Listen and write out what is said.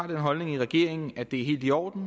den holdning i regeringen at det er helt i orden